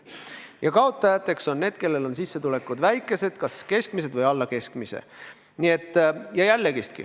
Ja kaotajateks on need, kellel on sissetulekud väikesed, kas keskmised või alla keskmise.